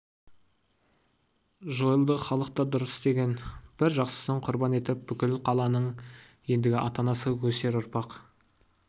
жойылды халық та дұрыс істеген бір жақсысын құрбан етіп бүкіл қаланың ендігі ата-анасы өсер ұрпақ